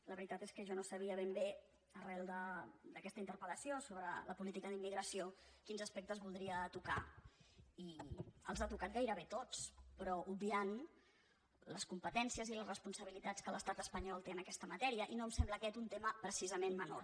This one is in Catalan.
la veritat és que jo no sabia ben bé arran d’aquesta interpel·lació sobre la política d’immigració quins aspectes voldria tocar i els ha tocat gairebé tots però obviant les competències i les responsabilitats que l’estat espanyol té en aquesta matèria i no em sembla aquest un tema precisament menor